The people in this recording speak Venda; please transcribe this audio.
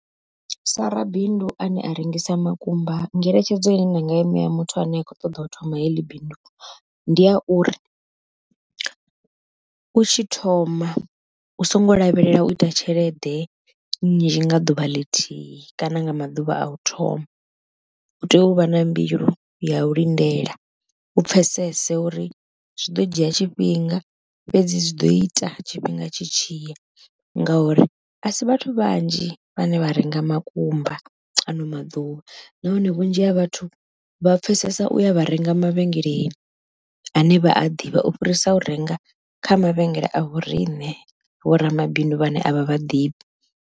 Sa rabindu ane a rengisa makumba ngeletshedzo ine nda nga i ṋea muthu ane a kho ṱoḓa u thoma heḽi bindu, ndi ya uri u tshi thoma u songo lavhelela uita tshelede nzhi nga ḓuvha ḽithihi kana nga maḓuvha a u thoma. U tea uvha na mbilu ya u lindela u pfhesese uri zwi ḓo dzhia tshifhinga fhedzi zwi ḓo ita tshifhinga tshi tshiya, ngauri a si vhathu vhanzhi vhane vha renga makumba ano maḓuvha, nahone vhunzhi ha vhathu vha pfhesesa u ya vha renga mavhengeleni ane vha a ḓivha u fhirisa u renga kha mavhengele a vho riṋe vho ramabindu vhane avha vha ḓivhi.